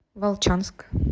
волчанск